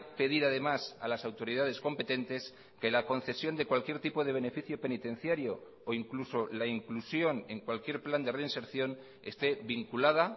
pedir además a las autoridades competentes que la concesión de cualquier tipo de beneficio penitenciario o incluso la inclusión en cualquier plan de reinserción esté vinculada